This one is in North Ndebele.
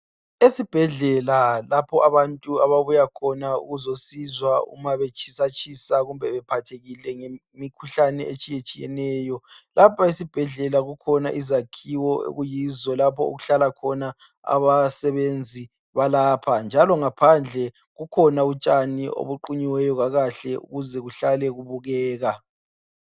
Esibhedlela lapho abantu ababuya khona ukuzosizwa uma betshisatshisa kumbe bephathekile ngemikhuhlane etshiyetshiyeneyo. Lapha esibhedlela kukhona izakhiwo okuyikho lapho okuhlala khona izisebenzi zesibhedlela, njalo ngaphandle kukhona utshani obuqunyiweyo kakahle ukuze nuhlale bubukeka.